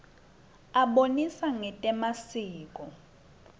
abonisa ngetemasiko